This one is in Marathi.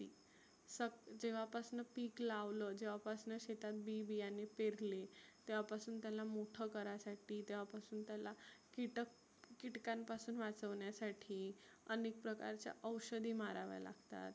स जेव्हा पासनं पिक लावल जेव्हा पासनं शेतात बी बीयने पेरले तेव्हा पासुन त्याला मोठ करासाठी तेव्हा पासुन त्याला किटक किटकांपासुन वाचवण्यासाठी आनेक प्रकारच्या औषधी माराव्या लागतात.